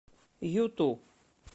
юту